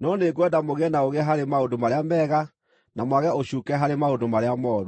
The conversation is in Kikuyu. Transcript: no nĩngwenda mũgĩe na ũũgĩ harĩ maũndũ marĩa mega, na mwage ũcuuke harĩ maũndũ marĩa mooru.